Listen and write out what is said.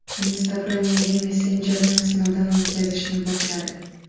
Instagram yangi messenjerni sinovdan o‘tkazishni boshladi.